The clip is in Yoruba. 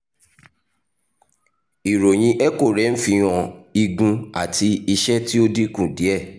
iroyin echo rẹ n fihan igun ati iṣẹ ti o dinku diẹ